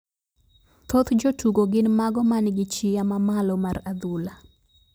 Thoth jotugo gin mago man gi chia mamalo mar adhula